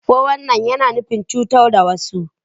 Fo wan nain, yana nufin cutar da wasu.